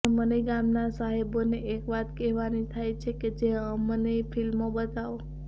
પણ મને ગામના સાહેબોને એક વાત કહેવાની થાય છે કે અમનેય ફ્લ્મિો બતાવો